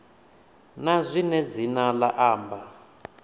na zwine dzina la amba